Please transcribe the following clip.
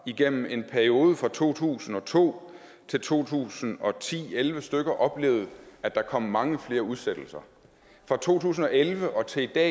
igennem en periode fra to tusind og to til to tusind og ti til elleve stykker oplevet at der kom mange flere udsættelser fra to tusind og elleve og til i dag